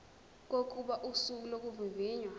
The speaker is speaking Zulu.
kokuba usuku lokuvivinywa